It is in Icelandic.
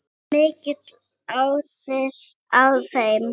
Mikill asi á þeim.